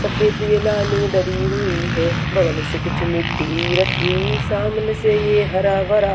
सफेद ये लाइनिंग दरी हुई है बगल से कुछ मिट्टी रखी सामने से ये हरा भरा।